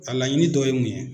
A laɲini dɔ ye mun ye ?